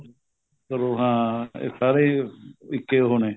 ਕਰੋ ਹਾਂ ਇਹ ਸਾਰੇ ਇੱਕ ਉਹ ਹੋਣੇ